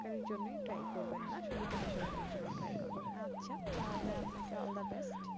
সরকারির জন্য try করবেন না, বেসরকারির জন্যও try করবেন। আচ্ছা তাহলে আপনাকে all the best